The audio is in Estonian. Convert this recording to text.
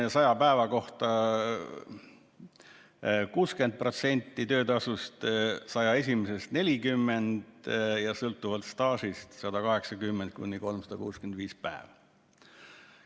Esimese saja päeva kohta on 60% töötasust, 101. päevast alates 40% ja sõltuvalt staažist 180–365 päeva.